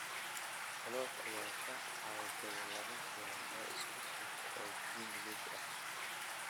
Klopp ayaa ka cawday laba kulan oo isku xigta oo Premier League ah